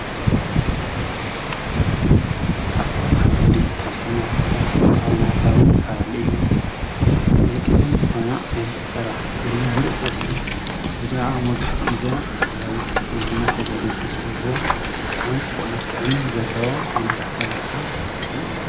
ኣሰራርሓ ፀጉሪ ካብ ሰብ ናብ ሰብን ካብ ከባቢ ናብ ከባብን ይፈላለ እዩ ::ናይ ቀደም ዝኮነ ዓይነት ኣሰራርሓ ፀጉሪ ሙሉእ ፀጉሪ እዚ ከዓ መብዛሕትኡ ግዘ ሰራዊት ወይ ድማ ተጋደልቲ ዝገብርዎ ብጣዕሚ ፅቡቅ መልክዕን ዘለዎ ዓይነት ኣሰራርሓ ፀጉሪ እዩ።